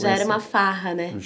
Já era uma farra, né?